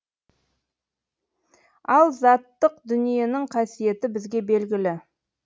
ал заттық дүниенің қасиеті бізге белгілі